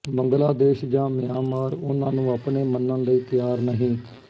ਬੰਗਲਾਦੇਸ਼ ਜਾਂ ਮਿਆਂਮਾਰ ਉਹਨਾਂ ਨੂੰ ਆਪਣੇ ਮੰਨਣ ਲਈ ਤਿਆਰ ਨਹੀਂ